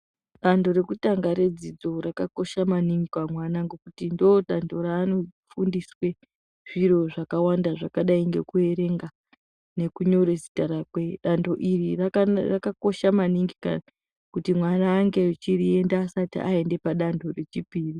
Danho rekutanga redzidzo rakakosha maningi pamwana ngokuti ndodanho ranofundiswe zviro zvaakawanda zvakadai ngekuerenga nekunyora zita rake danho iri rakakosha maningi kuti mwana ange echiriita asati aenda padanho rechipiri.